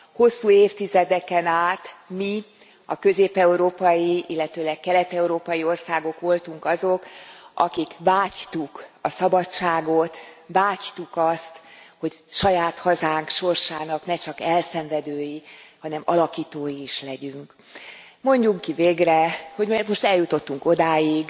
Hosszú évtizedeken át mi, a közép európai, illetőleg kelet európai országok voltunk azok, akik vágytuk a szabadságot, vágytuk azt, hogy saját hazánk sorsának ne csak elszenvedői, hanem alakítói is legyünk. Mondjuk ki végre, hogy most eljutottunk odáig,